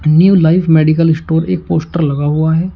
New life medical store एक poster लगा हुआ है।